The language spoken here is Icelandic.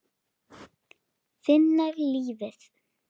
Finna lífið.